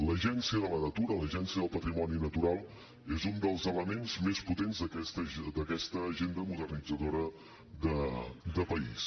l’agència de la natura l’agència del patrimoni natural és un dels elements més potents d’aquesta agenda modernitzadora de país